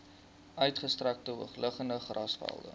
uitgestrekte hoogliggende grasvelde